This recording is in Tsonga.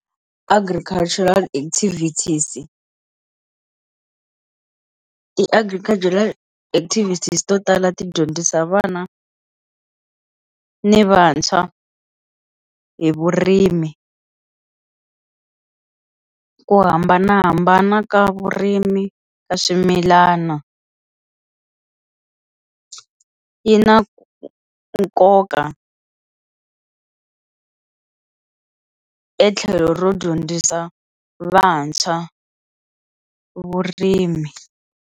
Agricultural activities ti-agricultural activities to tala ti dyondzisa vana ni vantshwa hi vurimi ku hambanahambana ka vurimi ka swimilana yi na nkoka etlhelo ro dyondzisa vantshwa vurimi.